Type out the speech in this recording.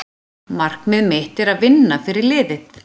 Markmið mitt er að vinna fyrir liðið.